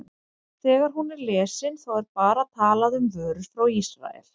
Þegar hún er lesin, þá er bara talað um vörur frá Ísrael?